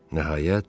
Nəhayət,